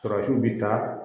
Farafinw bi taa